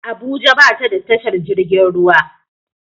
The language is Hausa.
Abuja ba ta da tashar jirgin ruwa